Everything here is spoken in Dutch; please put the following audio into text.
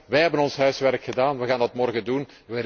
Wij hebben ons huiswerk gedaan, wij gaan dat morgen doen.